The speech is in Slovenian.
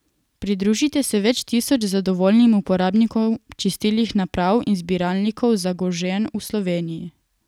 Pridružite se več tisoč zadovoljnim uporabnikom čistilnih naprav in zbiralnikov Zagožen v Sloveniji.